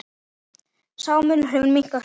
Sá munur hefur minnkað hratt.